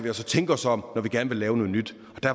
altså tænke os om når vi gerne vil lave noget nyt